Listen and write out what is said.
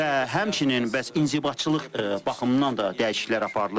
Və həmçinin bəs inzibatçılıq baxımından da dəyişikliklər aparılır.